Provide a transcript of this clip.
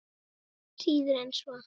Síður en svo.